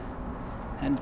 en